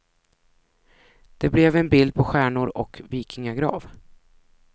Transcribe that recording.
Det blev en bild på stjärnor och vikingagrav.